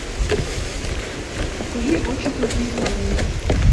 покажи очень плохие парни